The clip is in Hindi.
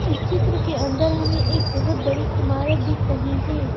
इस चित्र के अंदर हमें एक बहुत बड़ी इमारत दिख रही है।